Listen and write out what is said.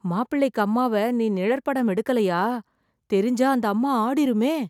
மாப்பிள்ளைக்கு அம்மாவ நீ நிழற்படம் எடுக்கலயா, தெரிஞ்சா அந்த அம்மா ஆடிருமே.